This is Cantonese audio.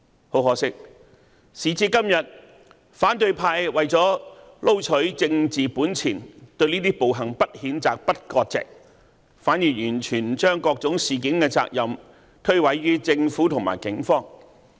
很可惜，時至今日，反對派為了撈取政治本錢，對這些暴行不譴責、不割席，反而完全將各種事件的責任推諉於政府和警方。